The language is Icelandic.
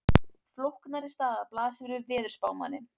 Flóknari staða blasir við veðurspámanni.